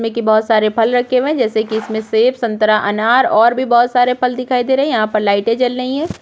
में बहोत सारे फल रखे हुए है जैसे की इसमें सेफ संतरा अनार और भी बहोत सारे फल दिखाई दे रहै है यहाँ पर लाइटे जल रही है।